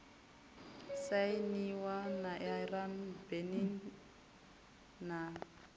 sainiwa na iran benin na